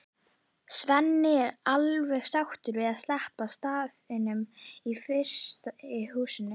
Svenni er alveg sáttur við að sleppa starfinu í frystihúsinu.